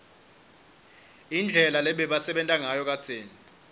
indlela lebebasebenta ngayo kadzeni